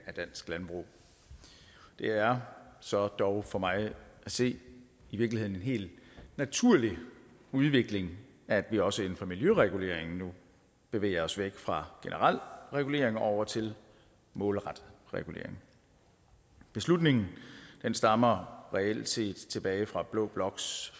af dansk landbrug det er så dog for mig at se i virkeligheden en helt naturlig udvikling at vi også inden for miljøregulering nu bevæger os væk fra generel regulering og over til målrettet regulering beslutningen stammer reelt set tilbage fra blå bloks